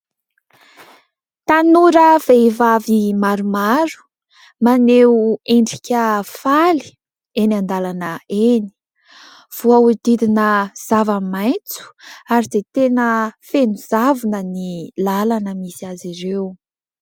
Tanora vehivavy maromaro maneho endrika faly eny an-dalana eny, voahodidina zava-maitso ary dia tena feno zavona ny lalana misy azy ireo.